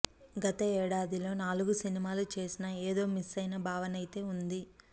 గత ఏడాదిలో నాలుగు సినిమాలు చేసినా ఏదో మిస్సైన భావనైతే ఉంది